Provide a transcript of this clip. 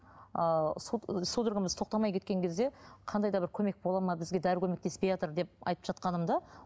ы судорогамыз тоқтамай кеткен кезде қандай да бір көмек бола ма бізге дәрі көмектеспейатыр деп айтып жатқанымда